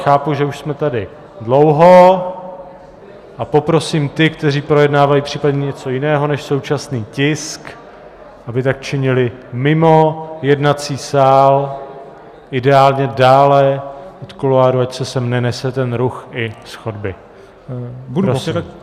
Chápu, že už jsme tady dlouho, a poprosím ty, kteří projednávají případně něco jiného než současný tisk, aby tak činili mimo jednací sál, ideálně dále od kuloárů, ať se sem nenese ten ruch i z chodby.